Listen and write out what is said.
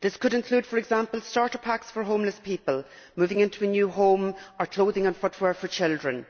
This could include, for example, starter packs for homeless people moving into a new home or clothing and footwear for children.